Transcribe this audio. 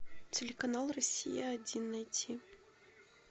телеканал россия один найти